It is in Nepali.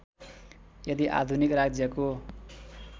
यदि आधुनिक राज्यको